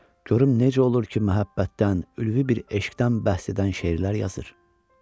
Görüm necə olur ki, məhəbbətdən, ülvi bir eşqdən bəhs edən şeirlər yazır.